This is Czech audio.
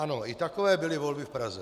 Ano, i takové byly volby v Praze.